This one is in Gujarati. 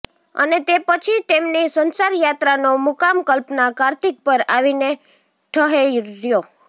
અને તે પછી તેમની સંસારયાત્રાનો મુકામ કલ્પના કાર્તિક પર આવીને ઠહેર્યો